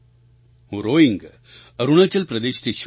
હું રોઇંગ અરુણાચલ પ્રદેશથી છું